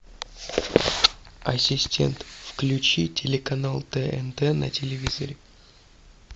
ассистент включи телеканал тнт на телевизоре